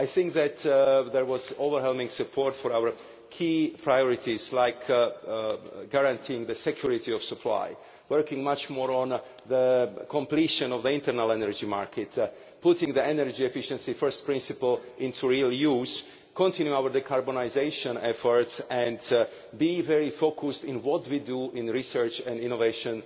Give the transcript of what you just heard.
I think that there was overwhelming support for our key priorities like guaranteeing the security of supply, working much more on the completion of the internal energy market, putting the energy efficiency first principle into real use, continuing our decarbonisation efforts and being very focused in what we do in research and innovation